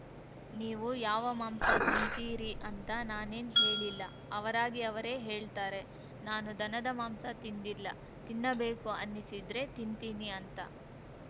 ನೀವು ಯಾವ ಮಾಂಸ ತಿಂತೀರಿ ಅಂತ ನಾನೇನ್‌ ಹೇಳಿಲ್ಲ ಅವರಾಗಿ ಅವರೇ ಹೇಳ್ತಾರೆ ನಾನು ದನದ ಮಾಂಸ ತಿಂದಿಲ್ಲ ತಿನ್ನಬೇಕು ಅನ್ನಿಸಿದ್ರೆ ತಿಂತಿನಿ ಅಂತ